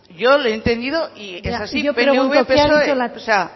yo le he entendido y eso así pnv psoe